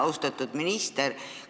Austatud minister!